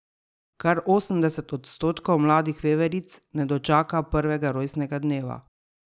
Kar osemdeset odstotkov mladih veveric ne dočaka prvega rojstnega dneva.